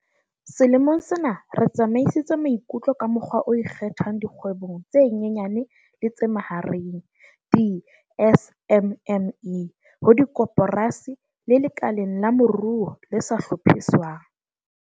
Selemong sena re tsepamisitse maikutlo ka mokgwa o ikgethang dikgwebong tse nyenyane le tse mahareng di-SMME, ho dikoporasi le lekaleng la moruo le sa hlophiswang.